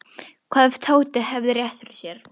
Hvað ef Tóti hefði rétt fyrir sér?